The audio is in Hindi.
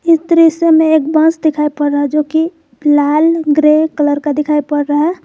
इस दृश्य में एक बस दिखाई पड़ रहा जो कि लाल ग्रे कलर का दिखाई पड़ रहा है।